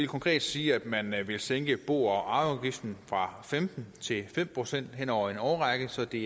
konkret sige at man vil sænke bo og arveafgiften fra femten til fem procent hen over en årrække så det